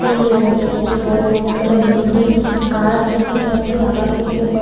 এলেও অপজিট -এ বড় অনেকতালা বিল্ডিং গাছ দেখতে পাচ্ছি আকাশ দেখতে পা--